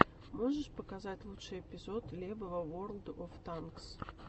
можешь показать лучший эпизод лебва ворлд оф танкс